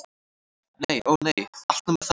Nei- ó nei, allt nema það.